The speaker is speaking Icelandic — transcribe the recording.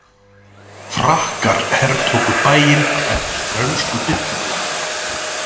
Frakkar hertóku bæinn eftir frönsku byltinguna.